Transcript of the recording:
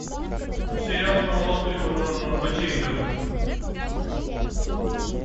сериал про молодых врачей интернов